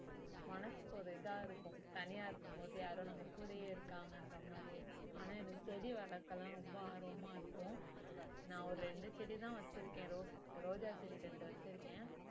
மனசுக்கு ஒரு இதா இருக்கும் தனியா இருக்கும்போது யாரோ நம்ம கூடயே இருக்காங்கன்ற மாதிரி இருக்கும் ஆனா எனக்கு செடி வளர்க்க எல்லாம் ரொம்ப ஆர்வமா இருக்கும் நான் ஒரு ரெண்டு செடிதான் வச்சிருக்கேன் rose ரோஜா செடி ரெண்டு வச்சிருக்கேன்